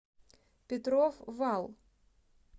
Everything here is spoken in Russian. петров вал